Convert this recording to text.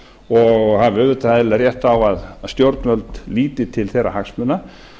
og hafi auðvitað eðlilega rétt á að stjórnvöld líti til þeirra hagsmuna